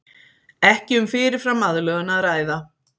Ekki um fyrirfram aðlögun að ræða